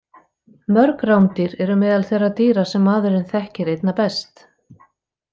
Mörg rándýr eru meðal þeirra dýra sem maðurinn þekkir einna best.